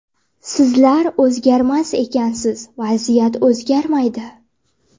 Sizlar o‘zgarmas ekansiz, vaziyat o‘zgarmaydi.